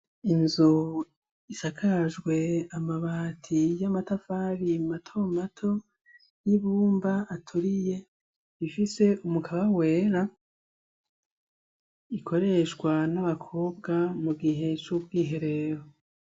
Inzu isakajwe amabati y’amatafari mato mato y’ibumba aturiye ifise umukaba wera ,ikoreshwa nabakobwa mu gihe co kwiherera.